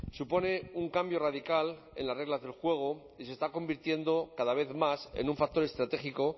supone un cambio radical en las reglas del juego y se está convirtiendo cada vez más en un factor estratégico